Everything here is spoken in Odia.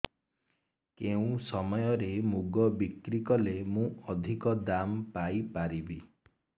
କେଉଁ ସମୟରେ ମୁଗ ବିକ୍ରି କଲେ ମୁଁ ଅଧିକ ଦାମ୍ ପାଇ ପାରିବି